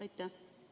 Aitäh!